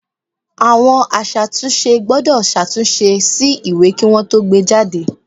Àwọn aṣàtúnṣe gbọ́dọ̀ ṣàtúnṣe sí ìwé kí wọn ó tó gbé e jáde